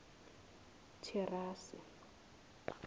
thirase